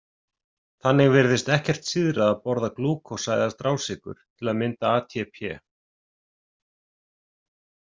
Þannig virðist ekkert síðra að borða glúkósa eða strásykur til að mynda ATP.